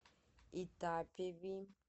итапеви